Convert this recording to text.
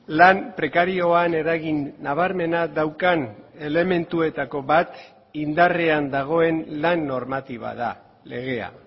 lan prekarioan eragin nabarmena daukan elementuetako bat indarrean dagoen lan normatiba da legea